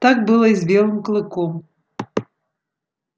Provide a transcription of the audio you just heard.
так было и с белым клыком